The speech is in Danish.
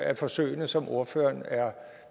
af forsøgene som ordføreren er